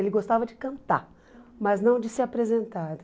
Ele gostava de cantar, mas não de se apresentar.